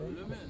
Önə get.